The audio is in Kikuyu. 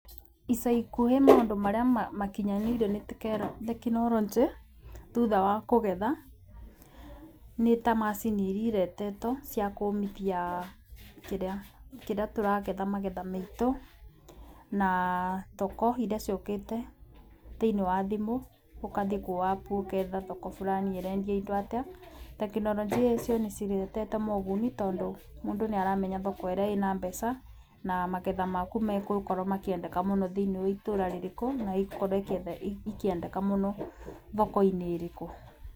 Ica ikuhĩ maũndũ marĩa makinyanĩire nĩ tekinoronjĩ thutha wa kũgetha nĩ ta macini irĩa iretetwo cia kũmithia kĩrĩa kĩrĩa tũragetha magetha maitũ. Na thoko iria ciũkĩte thĩinĩ wa thimũ ũkathi kwa app ũketha thoko burani ĩrendia indo atĩa. Tekinoronjia icio nĩ ciretete moguni tondũ mũndũ nĩ aramenya thoko ĩrĩa ĩna mbeca na maketha maku megũkorwo makĩendeka mũno thĩiniĩ wa itũra rĩrĩkũ na igũkotrwo ikĩendeka mũno thoko-inĩ ĩrĩkũ.